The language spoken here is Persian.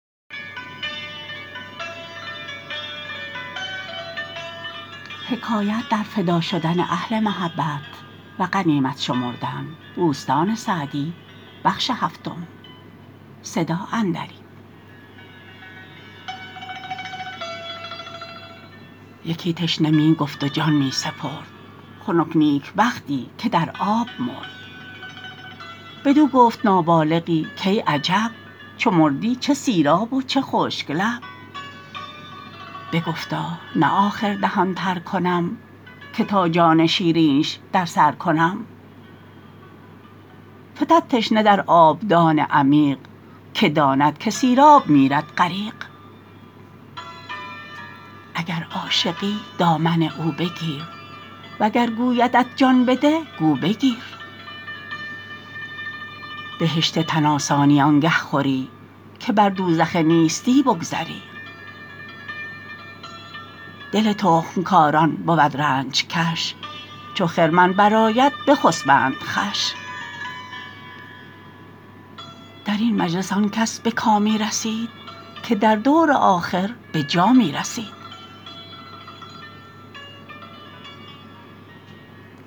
یکی تشنه می گفت و جان می سپرد خنک نیکبختی که در آب مرد بدو گفت نابالغی کای عجب چو مردی چه سیراب و چه خشک لب بگفتا نه آخر دهان تر کنم که تا جان شیرینش در سر کنم فتد تشنه در آبدان عمیق که داند که سیراب میرد غریق اگر عاشقی دامن او بگیر وگر گویدت جان بده گو بگیر بهشت تن آسانی آنگه خوری که بر دوزخ نیستی بگذری دل تخم کاران بود رنج کش چو خرمن برآید بخسبند خوش در این مجلس آن کس به کامی رسید که در دور آخر به جامی رسید